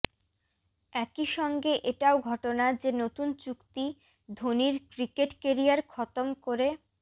একই সঙ্গে এটাও ঘটনা যে নতুন চুক্তি ধোনির ক্রিকেট কেরিয়ার খতম করে